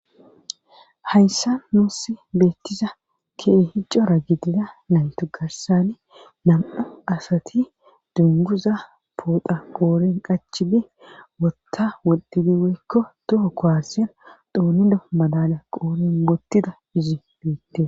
Hayssa nuussi beettiza kee hicora gidida naytu garsani nam'u asati dunguza poota qooren qachibi wotta wodidiweykko toho koasyean doonido madala qoorin mottida izi du'itte.